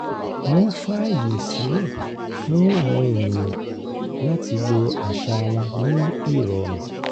wọ́n fàyè sílẹ̀ fún àwọn ènìyàn láti lo àṣà wọn ní ìrọ̀rùn